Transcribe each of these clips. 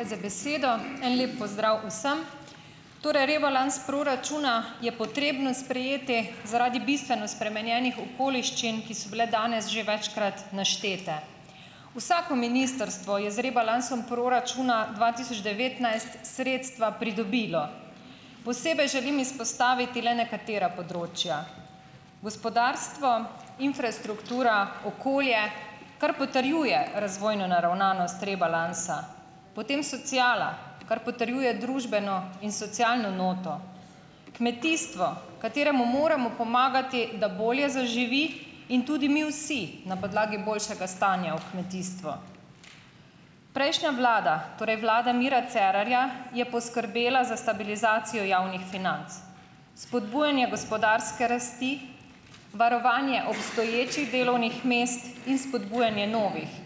Hvala za besedo. En lep pozdrav vsem! Torej, rebalans proračuna je potrebno sprejeti zaradi bistveno spremenjenih okoliščin, ki so bile danes že večkrat naštete. Vsako ministrstvo je z rebalansom proračuna dva tisoč devetnajst sredstva pridobilo. Posebej želim izpostaviti le nekatera področja. Gospodarstvo, infrastruktura, okolje, kar potrjuje razvojno naravnanost rebalansa. Potem sociala, kar potrjuje družbeno in socialno noto. Kmetijstvo, kateremu moramo pomagati, da bolje zaživi in tudi mi vsi, na podlagi boljšega stanja v kmetijstvu. Prejšnja vlada, torej vlada Mira Cerarja, je poskrbela za stabilizacijo javnih financ. Spodbujanje gospodarske rasti, varovanje obstoječih delovnih mest in spodbujanje novih.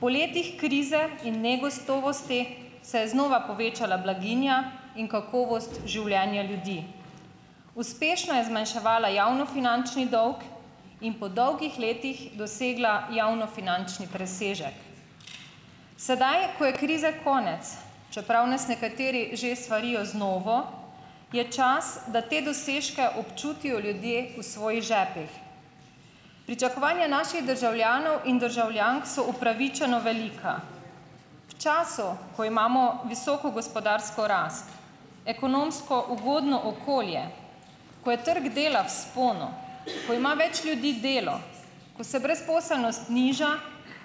Po letih krize in negotovosti se je znova povečala blaginja in kakovost življenja ljudi. Uspešno je zmanjševala javnofinančni dolg in po dolgih letih dosegla javnofinančni presežek. Sedaj, ko je krize konec, čeprav nas nekateri že svarijo z novo, je čas, da te dosežke občutijo ljudje v svojih žepih. Pričakovanja naših državljanov in državljank so upravičeno velika. V času, ko imamo visoko gospodarsko rast, ekonomsko ugodno okolje, ko je trg dela v vzponu, ko ima več ljudi delo, ko se brezposelnost nižja,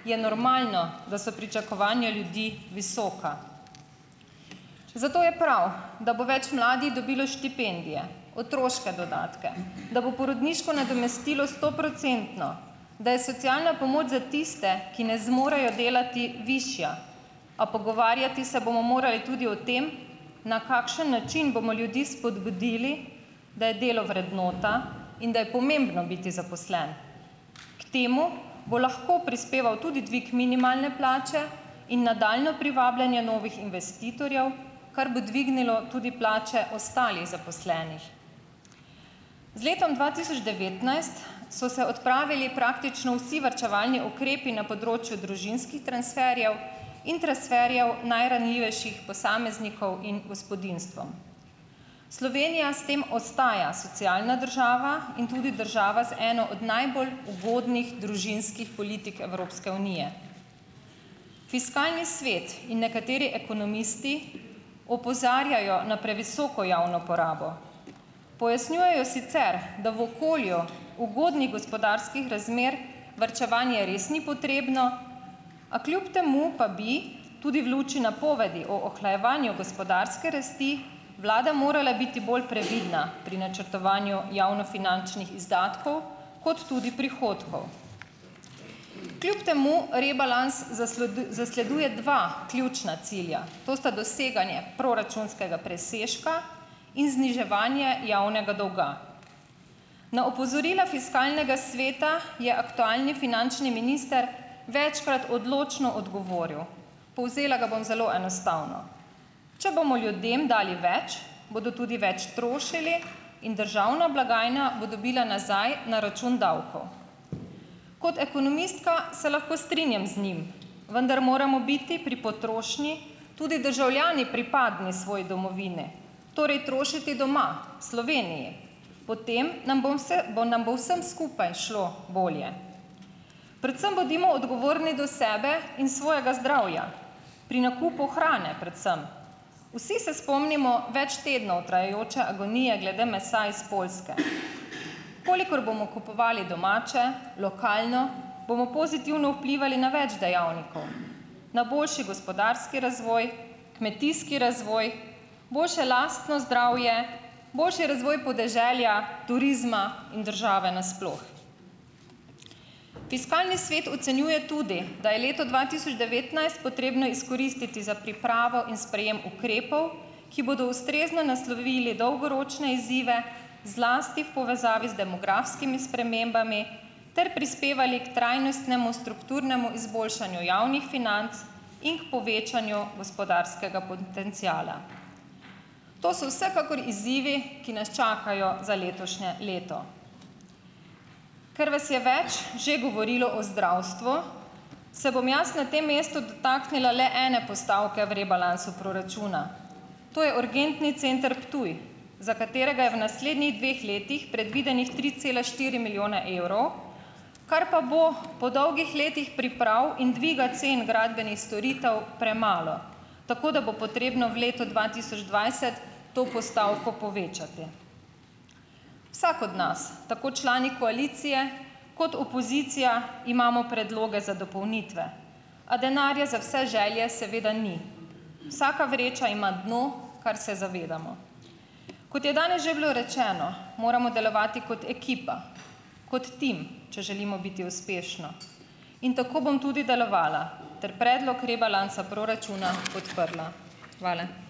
je normalno, da so pričakovanja ljudi visoka. Zato je prav, da bo več mladih dobilo štipendije, otroške dodatke, da bo porodniško nadomestilo stoprocentno, da je socialna pomoč za tiste, ki ne zmorejo delati, višja. A pogovarjati se bomo morali tudi o tem, na kakšen način bomo ljudi spodbudili, da je delo vrednota in da je pomembno biti zaposlen. K temu bo lahko prispeval tudi dvig minimalne plače in nadaljnje privabljanje novih investitorjev, kar bo dvignilo tudi plače ostalih zaposlenih. Z letom dva tisoč devetnajst so se odpravili praktično vsi varčevalni ukrepi na področju družinskih transferjev in transferjev najranljivejših posameznikov in gospodinjstvom. Slovenija s tem ostaja socialna država in tudi država z eno od najbolj ugodnih družinskih politik Evropske unije. Fiskalni svet in nekateri ekonomisti opozarjajo na previsoko javno porabo. Pojasnjujejo sicer, da v okolju ugodnih gospodarskih razmer varčevanje res ni potrebno, a kljub temu pa bi tudi v luči napovedi o ohlajevanju gospodarske rasti vlada morala biti bolj previdna pri načrtovanju javnofinančnih izdatkov kot tudi prihodkov. Kljub temu rebalans zasleduje dva ključna cilja. To sta doseganje proračunskega presežka in zniževanje javnega dolga. Na opozorila fiskalnega sveta je aktualni finančni minister večkrat odločno odgovoril. Povzela ga bom zelo enostavno. Če bomo ljudem dali več, bodo tudi več trošili in državna blagajna bo dobila nazaj na račun davkov. Kot ekonomistka se lahko strinjam z njim, vendar moramo biti pri potrošnji tudi državljani pripadni svoji domovini. Torej trošiti doma, v Sloveniji. Potem nam bom bo nam bo vsem skupaj šlo bolje. Predvsem bodimo odgovorni do sebe in svojega zdravja. Pri nakupu hrane predvsem. Vsi se spomnimo več tednov trajajoče agonije glede mesa iz Poljske. Kolikor bomo kupovali domače, lokalno, bomo pozitivno vplivali na več dejavnikov, na boljši gospodarski razvoj, kmetijski razvoj, boljše lastno zdravje, boljše razvoj podeželja, turizma in države na sploh. Fiskalni svet ocenjuje tudi, da je leto dva tisoč devetnajst potrebno izkoristiti za pripravo in sprejem ukrepov, ki bodo ustrezno naslovili dolgoročne izzive, zlasti v povezavi z demografskimi spremembami ter prispevali k trajnostnemu, strukturnemu izboljšanju javnih financ in k povečanju gospodarskega potenciala. To so vsekakor izzivi, ki nas čakajo za letošnje leto. Ker vas je več že govorilo o zdravstvu, se bom jaz na tem mestu dotaknila le ene postavke v rebalansu proračuna, to je Urgentni center Ptuj, za katerega je v naslednjih dveh letih predvidenih tri cele štiri milijone evrov, kar pa bo po dolgih letih priprav in dviga cen gradbenih storitev premalo, tako da bo potrebno v letu dva tisoč dvajset to postavko povečati. Vsak od nas, tako člani koalicije kot opozicija, imamo predloge za dopolnitve, a denarja za vse želje seveda ni. Vsaka vreča ima dno, kar se zavedamo. Kot je danes že bilo rečeno, moramo delovati kot ekipa, kot tim, če želimo biti uspešni, in tako bom tudi delovala ter predlog rebalansa proračuna podprla. Hvala.